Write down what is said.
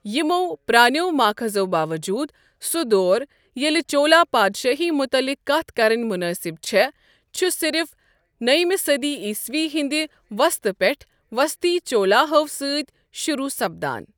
یمو پرٛانٮ۪و ماخذو باوجوٗد، سہُ دور ییٚلہِ چولا پادشٲہی متعلق کتھ کرٕنۍ منٲسب چھےٚ، چھُ صرف نٔوِمہِ صٔدی عیٖسوی ہندِ وسطہٕ پٮ۪ٹھٕہٕ وسطی چولاہو سٕتۍ شروع سپدان ۔